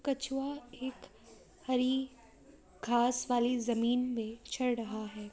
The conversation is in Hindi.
चूहा एक हरी घास वाली जमीन में चढ़ रहा है ।